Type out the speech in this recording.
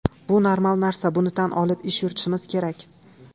Bu normal narsa, buni tan olib ish yuritishimiz kerak.